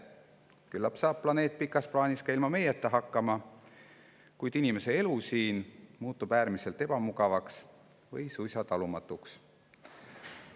Küllap saab planeet pikas plaanis ka ilma meieta hakkama, kuid muutub inimese elu siin äärmiselt ebamugavaks või suisa talumatuks.